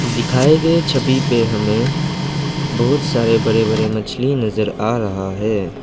दिखाए गए छवि पे हमें बहुत सारे बड़े बड़े मछली नजर आ रहा है।